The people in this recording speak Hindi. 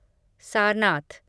सारनाथ